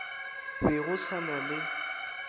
be go sa na le